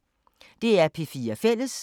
DR P4 Fælles